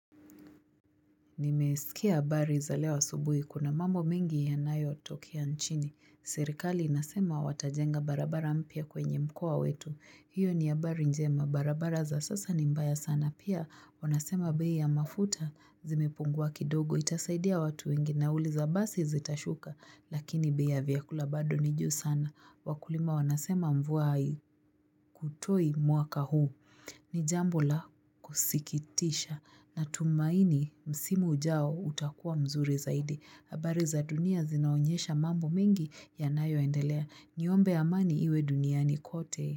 Nimesikia habari za leo asubuhi. Kuna mambo mengi yanayo tokea nchini. Serikali inasema watajenga barabara mpya kwenye mkoa wetu. Hiyo ni habari njema. Barabara za sasa ni mbaya sana. Pia wanasema bei ya mafuta zimepungua kidogo. Itasaidia watu wengi nauli za basi zitashuka. Lakini bei ya vyakula bado ni juu sana. Wakulima wanasema mvua haikutoi mwaka huu. Ni jambo la kusikitisha na tumaini msimu ujao utakuwa mzuri zaidi. Habari za dunia zinaonyesha mambo mengi ya nayo endelea. Niombe amani iwe duniani kote.